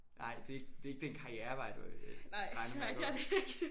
Nej det er ikke det er ikke den karrierevej du øh regner med at gå